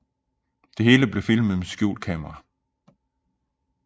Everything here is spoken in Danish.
Det hele blev filmet med skjult kamera